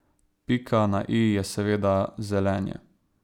Pika na i je seveda zelenje.